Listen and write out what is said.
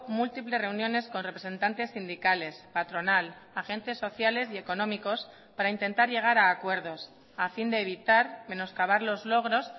múltiples reuniones con representantes sindicales patronal agentes sociales y económicos para intentar llegar a acuerdos a fin de evitar menoscabar los logros